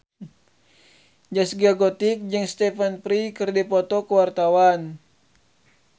Zaskia Gotik jeung Stephen Fry keur dipoto ku wartawan